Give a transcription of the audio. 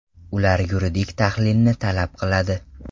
Ular yuridik tahlilni talab qiladi.